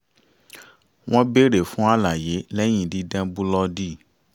wọ́n béèrè fún àlàyé lẹ́yìn dídán búlọ́ọ̀dì